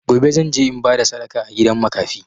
Gobe, zan je in ba da sadaka a gidan makafi.